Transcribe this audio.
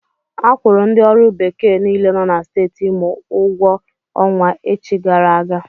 Akwụrụ ndi ọrụ bekee niile nọ na Steeti Imo ụgwọ ọnwa echi gara aga.